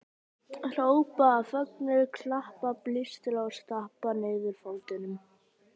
Hrópa af fögnuði, klappa, blístra og stappa niður fótunum!